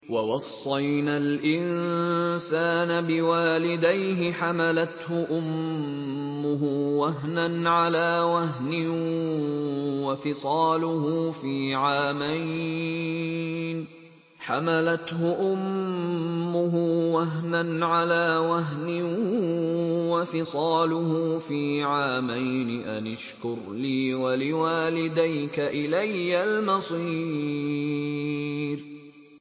وَوَصَّيْنَا الْإِنسَانَ بِوَالِدَيْهِ حَمَلَتْهُ أُمُّهُ وَهْنًا عَلَىٰ وَهْنٍ وَفِصَالُهُ فِي عَامَيْنِ أَنِ اشْكُرْ لِي وَلِوَالِدَيْكَ إِلَيَّ الْمَصِيرُ